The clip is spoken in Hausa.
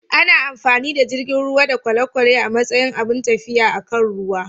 Ana amfani da jiragen ruwa da kwale-kwale a matsayin abun tafiya akan ruwa.